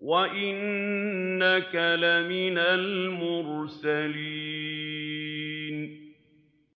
وَإِنَّكَ لَمِنَ الْمُرْسَلِينَ